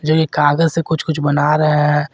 ये कागज से कुछ कुछ बना रहे हैं।